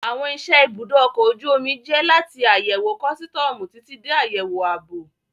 Àwọn iṣẹ́ ẹ ibùdó ọkọ̀ ojú omi jẹ́ láti àyẹ̀wò kọ́sítọ̀ọ̀mù títí dé àyẹ̀wò ààbò